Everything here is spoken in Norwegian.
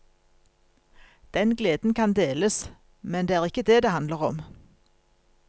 Den gleden kan deles, men det er ikke det det handler om.